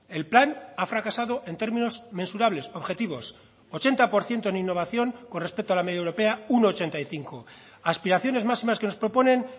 el plan ha fracasado en términos mensurables objetivos ochenta por ciento en innovación con respecto a la media europea un ochenta y cinco aspiraciones máximas que nos proponen